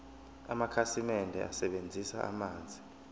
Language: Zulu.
amakhasimende asebenzisa amanzi